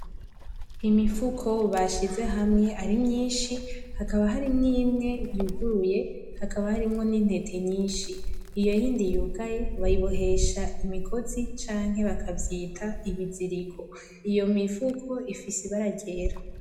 Imifuko bashize hamwe ari myinshi hakaba harimwo imwe yuguruye hakaba harimwo intete nyinshi iyo yindi yugaye bayibohesha imigozi canke bakavyita ibiziriko iyi mifuko ifise ibara ryera.